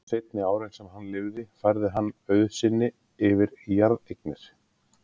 Seinni árin sem hann lifði færði hann auð sinn yfir í jarðeignir.